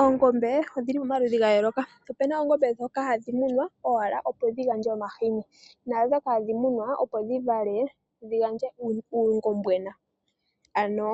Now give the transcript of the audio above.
Oongombe odhili momaludhi ga yooloka, opuna oongombe ndhoka hadhi munwa owala, opo dhi gandje omahini, naandhoka hadhi munwa, opo dhi vale, dhi gandje uungombwena ano